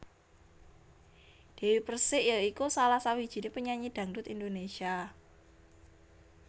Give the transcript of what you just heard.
Dewi Persik ya iku salah sawijiné penyanyi dangdut Indonésia